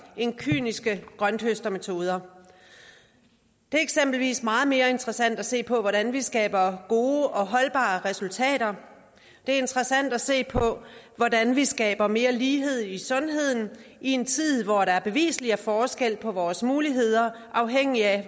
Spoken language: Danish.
end kyniske grønthøstermetoder det er eksempelvis meget mere interessant at se på hvordan vi skaber gode og holdbare resultater det er interessant at se på hvordan vi skaber mere lighed i sundheden i en tid hvor der beviseligt er forskel på vores muligheder afhængigt af